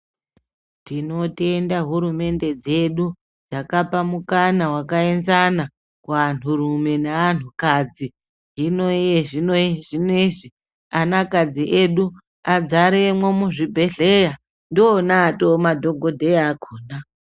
Tinotenda hurumende dzedu dzakapa mukana wakaenzana kuvantu rume nevantu kadzi hino zvinozvi akadzi edu azaremo muzvibhedhlera ndiwona atova madhokodheya akona .